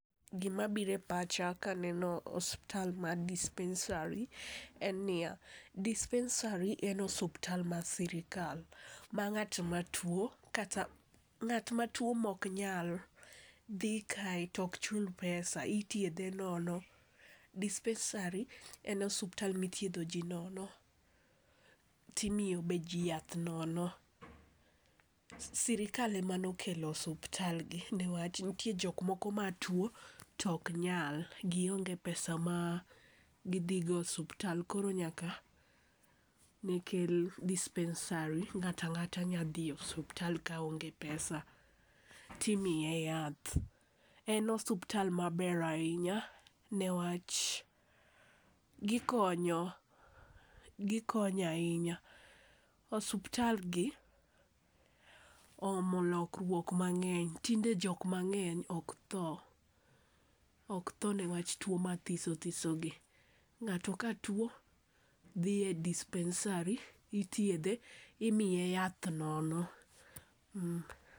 Gimabiro e pacha kaneno osuptal mar dispensari, en niya, dispensari en osuptal mar sirikal ma ng'at matuwo kata ng'at matuwo moknyal dhi kae to ok chul pesa. Ithiedhe nono, dispensari en osuptal mithiedho ji nono, timiyo be ji yath nono. Sirikal em anokelo osuptalgi niwach nitie jok moko matuwo to ok nyal, gionge pesa ma gidhi go osuptal koro nyaka ne kel dispensari, ng'ata ng'ata nyalo dhi osuptal ka onge pesa timiye yath. En osuptal maber ahinya niwach gikonyo ,gikonyo ahinya . Osuptal gi oomo lokruok mang'eny. Tinde jok mang'eny ok tho, ok tho niwach tuwo mathiso thisogi. Ng'ato ka tuwo dhi e dispensari, ithiedhe, imiye yath nono.